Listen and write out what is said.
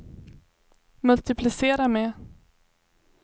multiplicera med